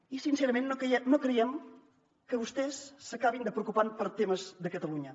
i sincerament no creiem que vostès s’acabin de preocupar per temes de catalunya